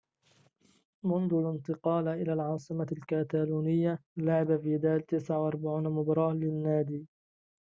منذ الانتقال إلى العاصمة الكتالونية لعب فيدال 49 مباراة للنادي